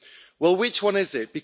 Well, which one is it?